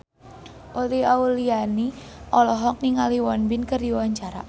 Uli Auliani olohok ningali Won Bin keur diwawancara